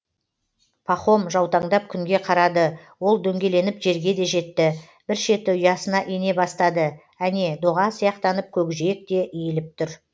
пахом жаутаңдап күнге қарады ол дөңгеленіп жерге де жетті бір шеті ұясына ене бастады әне доға сияқтанып көкжиек те иіліп түр